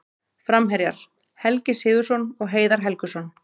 Framherjar: Helgi Sigurðsson og Heiðar Helguson.